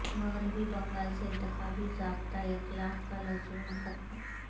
مغربی بنگال سے انتخابی ضابطہ اخلاق کا لزوم ختم